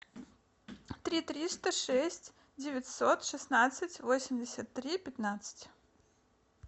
три триста шесть девятьсот шестнадцать восемьдесят три пятнадцать